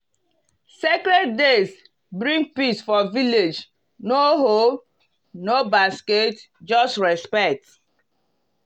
sacred days bring peace for village no hoe no basket just respect.